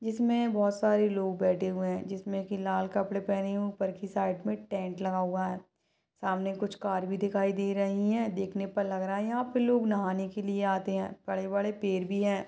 इसमे बोहोत सारे लोग बैठे हुए है जिसमे एक लाल कपड़े पहने हुए ऊपर की साइड मे टेंट लगा हुआ है सामने कुछ कार भी दिखाई दे रही है देखने पे लग रहा है यहाँ पे लोग नहाने के लिए आते है बड़े बड़े पेड भी है।